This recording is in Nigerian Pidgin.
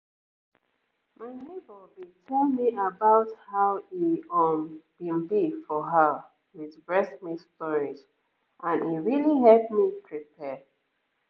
my neighbor been tell me about how e um been be for her with breast milk storage and e really help me prepare